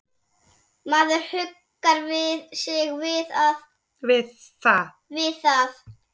Maður huggar sig við það.